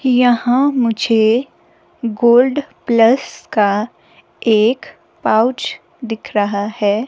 यहां मुझे gold plus का एक पाऊच दिख रहा है।